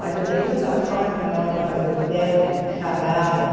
Mas eu dei tanta sorte que na hora de fazer o teste, chamaram